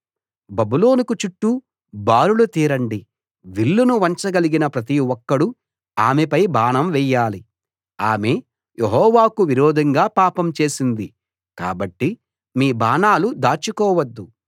బబులోనుకు చుట్టూ బారులు తీరండి విల్లును వంచగలిగిన ప్రతి ఒక్కడూ ఆమెపై బాణం వెయ్యాలి ఆమె యెహోవాకు విరోధంగా పాపం చేసింది కాబట్టి మీ బాణాలు దాచుకోవద్దు